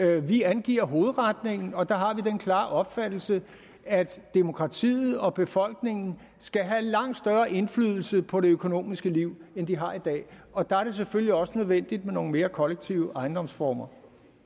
vi angiver hovedretningen og der har vi den klare opfattelse at demokratiet og befolkningen skal have langt større indflydelse på det økonomiske liv end de har i dag og der er det selvfølgelig også nødvendigt med nogle mere kollektive ejendomsformer